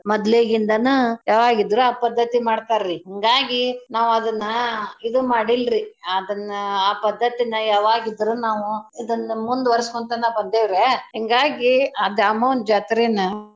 ಮದ್ಲೇ ಗಿಂದನೂ ಯವಾಗಿದ್ರೂ ಆ ಪದ್ದತಿ ಮಾಡ್ತಾ ರೀ ಹಿಂಗಾಗಿ ನಾವ್ ಅದನ್ನ ಇದು ಮಾಡಿಲ್ರಿ ಅದನ್ನ ಆ ಪದ್ದತಿನ ಯವಾಗಿದ್ರೂ ನಾವೂ ಇದನ್ನ ಮುಂದ್ ವರ್ಸಕೊಂತನ ಬಂದೆವ್ರಯ್ಯಾ ಹಿಂಗಾಗಿ ಆ ದ್ಯಾಮವ್ವನ್ ಜಾತ್ರೀನ.